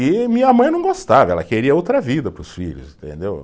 E minha mãe não gostava, ela queria outra vida para os filhos, entendeu?